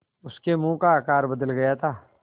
उसके मुँह का आकार बदल गया था